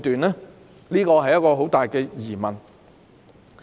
這是一個很大的疑問。